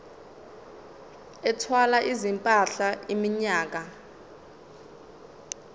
ethwala izimpahla iminyaka